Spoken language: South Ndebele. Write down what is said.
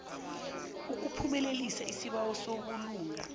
ukuphumelelisa isibawo sobulunga